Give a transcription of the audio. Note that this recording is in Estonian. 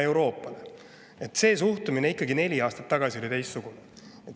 Neli aastat tagasi oli see suhtumine ikkagi teistsugune.